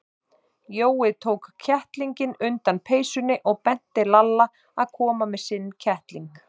Jói tók kettlinginn undan peysunni og benti Lalla að koma með sinn kettling.